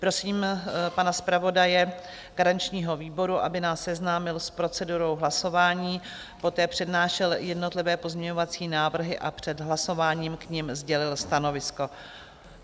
Prosím pana zpravodaje garančního výboru, aby nás seznámil s procedurou hlasování, poté přednášel jednotlivé pozměňovací návrhy a před hlasováním k nim sdělil stanovisko.